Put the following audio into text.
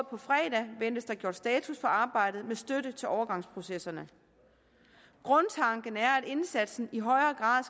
på fredag ventes der gjort status på arbejdet med støtte til overgangsprocesserne grundtanken er at indsatsen i højere grad